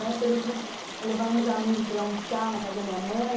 Na época do, eu levava uns amigos para almoçar na casa da minha mãe.